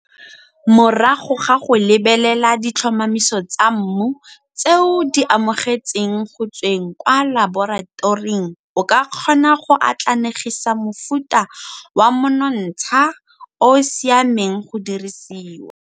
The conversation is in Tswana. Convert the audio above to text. Morago ga go lebelela ditlhomamiso tsa mmu tse o di amogetseng go tsweng kwa laboratoring o ka kgona go atlanegisa mofuta wa monontsha o o siameng go dirisiwa.